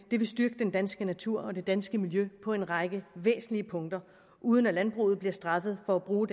vil styrke den danske natur og det danske miljø på en række væsentlige punkter uden at landbruget bliver straffet for at bruge